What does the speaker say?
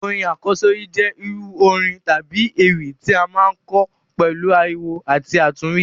Orin àkọ́sórí jẹ irú orin tábi ewì ti a maa n kọ pẹ̀lu ariwo àti àtúnwí.